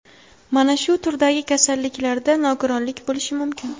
Mana shu turdagi kasalliklarda nogironlik bo‘lishi mumkin.